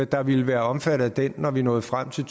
der ville være omfattet af den når vi nåede frem til